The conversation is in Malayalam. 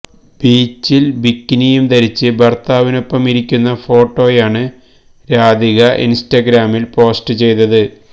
ബീച്ചില് ബിക്കിനി യും ധരിച്ച് ഭര്ത്താവിനൊ ടൊപ്പം ഇരി ക്കുന്ന ഫോട്ടോ യാണ് രാധിക ഇന്സ്റ്റ ഗ്രാമില് പോസ്റ്റ് ചെയ്തത്